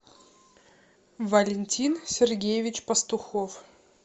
валентин сергеевич пастухов